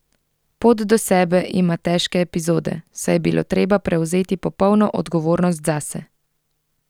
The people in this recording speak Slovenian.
Pot do sebe ima težke epizode, saj je bilo treba prevzeti popolno odgovornost zase.